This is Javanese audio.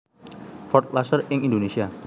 Ford Laser ing Indonesia